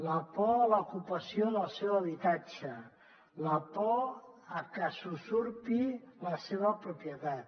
la por a l’ocupació del seu habitatge la por a que s’usurpi la seva propietat